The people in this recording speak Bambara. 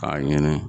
K'a ɲini